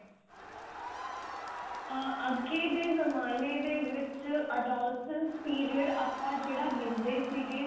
ਆਂ ਅੱਗੇ ਦੇ ਜਮਾਨੇ ਦੇ ਵਿੱਚ adolescence period ਆਪਾਂ ਜਿਹੜਾ ਲਿਂਦੇ ਸੀਗੇ